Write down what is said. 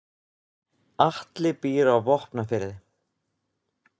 Atli býr á Vopnafirði.